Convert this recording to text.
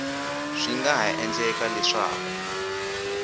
swi nga ha endleka leswaku